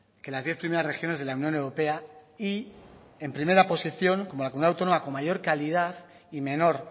que las diez primeras regiones de la unión europea y en primera posición como la comunidad autónoma con mayor calidad y menor